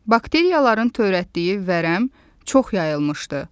Bakteriyaların törətdiyi vərəm çox yayılmışdı.